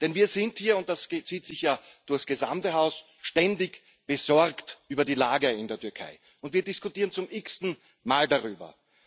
Denn wir sind hier und das zieht sich ja durch das gesamte Haus ständig besorgt über die Lage in der Türkei, und wir diskutieren zum x ten Mal darüber.